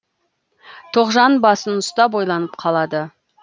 тоғжан басын ұстап ойланып қалады